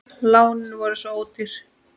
Lánin voru svo ódýr.